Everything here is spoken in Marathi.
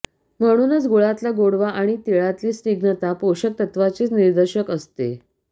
म्हणूनच गुळातला गोडवा आणि तिळातली स्निग्धता पोषक तत्वाचेच निदर्शक असते